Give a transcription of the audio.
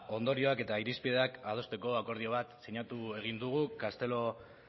ondorioak eta irizpideak adosteko akordio bat sinatu egin dugu castelo